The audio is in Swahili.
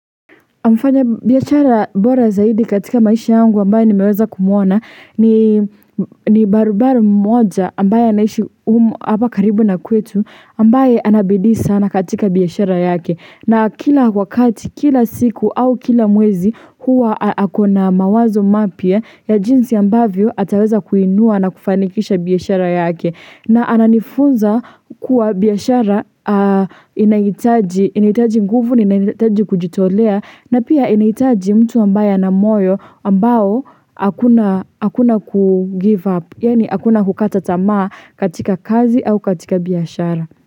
Mfanya biashara bora zaidi katika maisha yangu ambaye nimeweza kumuona ni barobaro mmoja ambaye anabidii sana katika biashara yake na kila wakati kila siku au kila mwezi huwa akona mawazo mapya ya jinsi ambavyo ataweza kuinua na kufanikisha biashara yake na ananifunza kuwa biashara inahitaji nguvu, na inahitaji kujitolea, na pia inahitaji mtu ambaye ana moyo ambao hakuna kugive up, yaani hakuna kukata tamaa katika kazi au katika biashara.